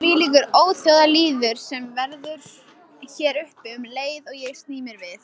Þvílíkur óþjóðalýður sem veður hér uppi um leið og ég sný mér við.